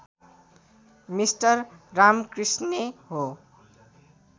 mister रामकृष्णे हो